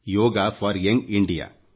yoga for young India